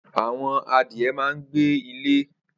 Awọn adìẹ mà n gbé ilè